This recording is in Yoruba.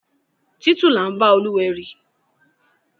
Títù là ḿbá Olúwẹri.